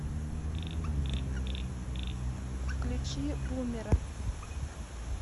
включи бумера